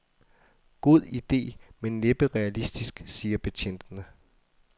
God ide, men næppe realistisk, siger betjentene.